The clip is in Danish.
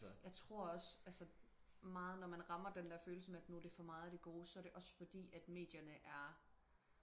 jeg tror også altså meget når man rammer den der følelse med at nu er det for meget af det gode så er det også fordi at medierne er